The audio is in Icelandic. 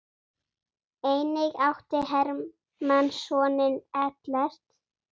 Einnig átti Hermann soninn Ellert.